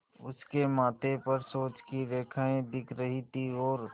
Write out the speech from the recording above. उसके माथे पर सोच की रेखाएँ दिख रही थीं और